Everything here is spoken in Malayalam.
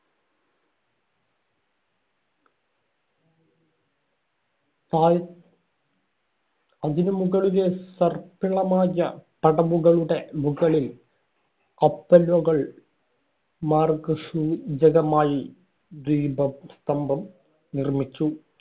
താഴെ അതിനു മുകളിലെ സർപ്പിളമായ പടവുകളുടെ മുകളിൽ കപ്പലുകൾ മാര്‍ഗ മാർ ഗസൂചകമായി ദീപസ്തംഭം നിർമ്മിച്ചു.